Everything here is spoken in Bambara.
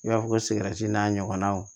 I b'a fɔ ko sigɛrɛti n'a ɲɔgɔnaw